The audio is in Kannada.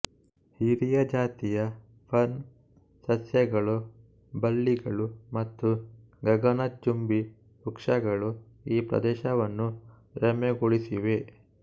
ಹಿರಿಯ ಜಾತಿಯ ಫರ್ನ್ ಸಸ್ಯಗಳು ಬಳ್ಳಿಗಳು ಮತ್ತು ಗಗನಚುಂಬಿ ವೃಕ್ಷಗಳು ಈ ಪ್ರದೇಶವನ್ನು ರಮ್ಯಗೊಳಿಸಿವೆ